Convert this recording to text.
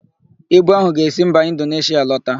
Ibu áhụ̀ ga-esi mba Indoneshịa alọta.